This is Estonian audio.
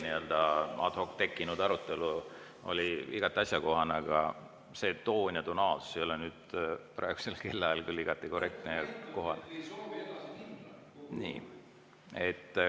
Nii-öelda ad hoc tekkinud arutelu oli igati asjakohane, aga see toon ja tonaalsus ei ole praegusel kellaajal küll korrektne ja kohane.